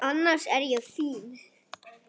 Annars er ég fín.